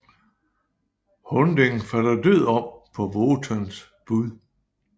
Hunding falder død om på Wotans bud